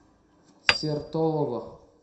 сертолово